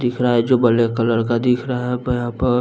दिख रहा है जो ब्लैक कलर का दिख रहा है प यहाँ प --